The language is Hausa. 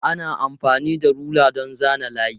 Ana amfani da rula don zana layi.